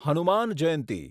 Hanuman Jayanti